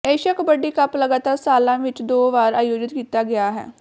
Asia kabaddi cup ਲਗਾਤਾਰ ਸਾਲਾਂ ਵਿੱਚ ਦੋ ਵਾਰ ਆਯੋਜਿਤ ਕੀਤਾ ਗਿਆ ਹੈ